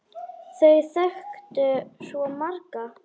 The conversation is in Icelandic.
Þau þekktu svo marga.